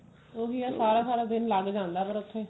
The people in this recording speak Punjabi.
ਉਹੀ ਹੈ ਸਾਰਾ ਸਰਾ ਦਿਨ ਲਗ ਜਾਂਦਾ ਫੇਰ ਉੱਥੇ